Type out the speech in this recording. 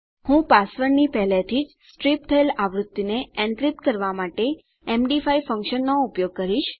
હું પાસવર્ડની પહેલાથીજ સ્ટ્રીપ થયેલ આવૃત્તિને એન્ક્રિપ્ટ કરવા માટે એમડી5 ફંક્શનનો ઉપયોગ કરીશ